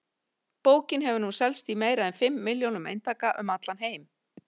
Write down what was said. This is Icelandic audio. Bókin hefur nú selst í meira en fimm milljónum eintaka um allan heim.